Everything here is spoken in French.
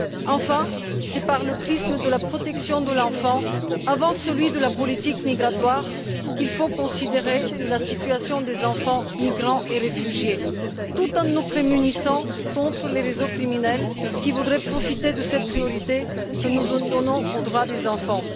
Enfin, c'est par le prisme de la protection de l'enfant, avant celui de la politique migratoire, qu'il faut considérer la situation des enfants migrants et réfugiés tout en nous prémunissant contre les réseaux criminels qui voudraient profiter de cette priorité que nous donnons aux droits des enfants.